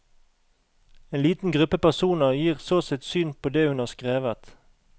En liten gruppe personer gir så sitt syn på det hun har skrevet.